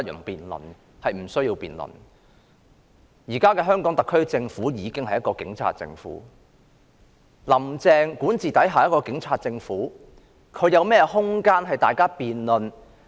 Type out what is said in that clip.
現時的香港特區政府已經是一個警察政府，"林鄭"管治下的警察政府還有何空間讓大家辯論？